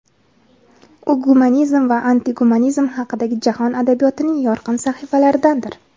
U gumanizm va antigumanizm haqidagi jahon adabiyotining yorqin sahifalaridandir.